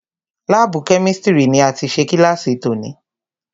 Lábùù Kẹ́místrì ni a ti ṣe kílàsì tòní.